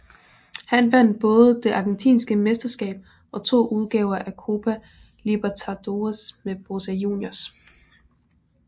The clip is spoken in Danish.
Han vandt både det argentinske mesterskab og to udgaver af Copa Libertadores med Boca Juniors